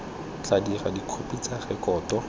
tla dirwa dikhopi tsa rekoto